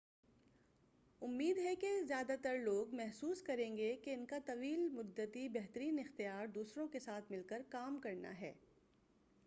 امید ہے کہ زیادہ تر لوگ محسوس کریں گے کہ ان کا طویل مدتی بہترین اختیار دوسروں کے ساتھ مل کر کام کرنا ہے